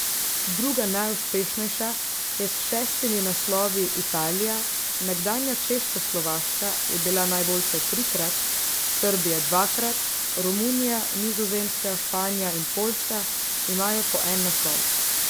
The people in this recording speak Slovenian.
Druga najuspešnejša je s šestimi naslovi Italija, nekdanja Češkoslovaška je bila najboljša trikrat, Srbija dvakrat, Romunija, Nizozemska, Španija in Poljska imajo po en naslov.